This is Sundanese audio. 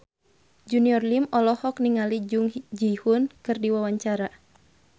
Junior Liem olohok ningali Jung Ji Hoon keur diwawancara